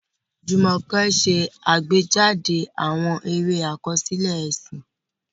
Jumoke ṣe àgbéjáde àwọn eré àkọsílẹ̀ ẹ̀sìn.